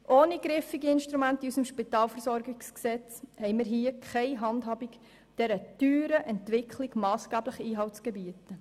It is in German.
Ohne griffige Instrumente in unserem Spitalversorgungsgesetz (SpVG) haben wir keine Handhabe, um dieser teuren Entwicklung massgeblich Einhalt zu gebieten.